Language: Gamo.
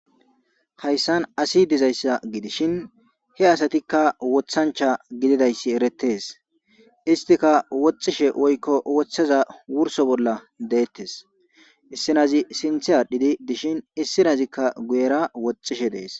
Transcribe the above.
hayssan asi dizayssa gidishin he asatikka wothancha gididayssi eretees istika woxishe woykko woththaza wurso bolla deettes issinazi sinthi adhidi dishin issinazikka guyera woxxishe dees